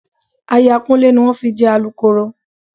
Aya Kúnlé ni wọ́n fi jẹ Alukooro